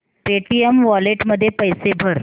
Paytm wallet मध्ये पैसे भर